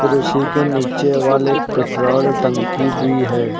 और उसी के नीचे वाले एक पेट्रोल टंकी भी है।